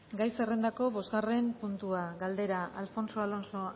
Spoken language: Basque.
gai zerrendako bosgarren puntua galdera alfonso alonso